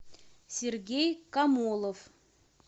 сергей камолов